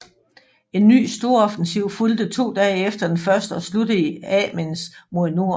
En ny storoffensiv fulgte to dage efter den første og sluttede i Amiens mod nord